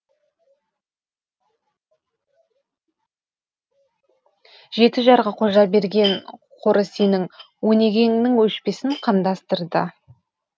жеті жарғы қожаберген қоры сенің өнегеңнің өшпесін қамдастырды